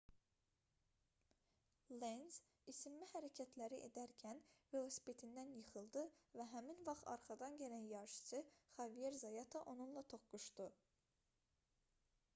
lenz isinmə hərəkətləri edərkən velosipedindən yıxıldı və həmin vaxt arxadan gələn yarışçı xavier zayata onunla toqquşdu